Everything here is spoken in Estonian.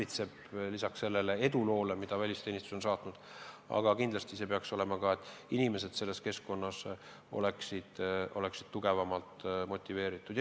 Aga kindlasti mulle meeldiks, et lisaks sellele eduloole, mis välisteenistust on saatnud, on inimesed selles keskkonnas tugevamalt motiveeritud.